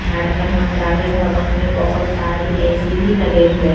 झारखण्ड मंत्रालय भवन में बहुत सारी ऐ_सी भी लगे हुए है।